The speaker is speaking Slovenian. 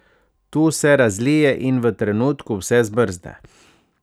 Tu se razlije in v trenutku vse zmrzne.